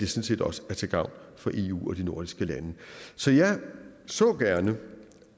set også er til gavn for eu og de nordiske lande så jeg så gerne